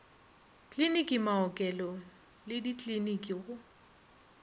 kliniki maokelo le dikliniki go